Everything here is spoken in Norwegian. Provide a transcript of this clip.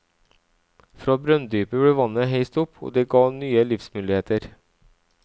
Fra brønndypet ble vannet heist opp, og det ga nye livsmuligheter.